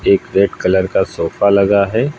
एक red colour का sofa लगा है।